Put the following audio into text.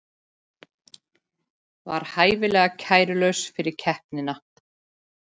Var hæfilega kærulaus fyrir keppnina